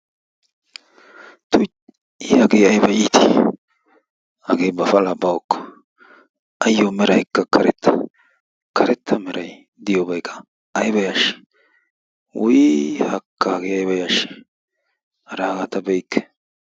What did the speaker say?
Tuy! i hagee ayba iitii? hagee ba palaa bawu eekko. aayoo meraykka karetta karetta meray diyoobaykka ayba yaashii? wuuyii haakka hagee ayba yashshii? ara hagaa ta be'ikke!